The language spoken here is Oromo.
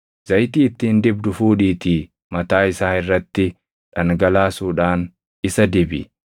Zayitii ittiin dibdu fuudhiitii mataa isaa irratti dhangalaasuudhaan isa dibi.